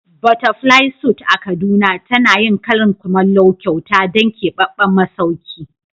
Butterfly suit a kaduna tana yin karin kumallo kyauta don keɓaɓɓen masauki.